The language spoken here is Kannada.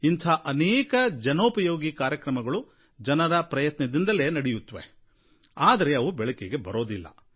ಇಂಥ ಅನೇಕ ಜನೋಪಯೋಗಿ ಕಾರ್ಯಕ್ರಮಗಳು ಜನರ ಪ್ರಯತ್ನದಿಂದಲೇ ನಡೆಯುತ್ವೆ ಆದರೆ ಇವು ಬೆಳಕಿಗೆ ಬರೋದಿಲ್ಲ